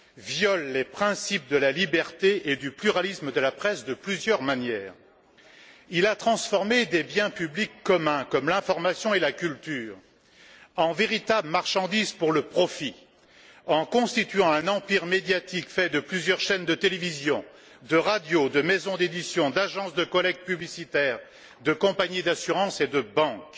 viole les principes de la liberté et du pluralisme de la presse de plusieurs manières. Il a transformé des biens publics communs, comme l'information et la culture, en véritables marchandises pour le profit en constituant un empire médiatique de plusieurs chaînes de télévision et de radio, de maisons d'édition, d'agences de collecte publicitaire, de compagnies d'assurances et de banques.